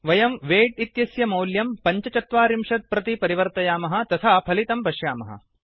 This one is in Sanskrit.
वयं वैट् इत्यस्य मौल्यं ४५ प्रति परिवर्तयामः तथा फलितं पश्यामः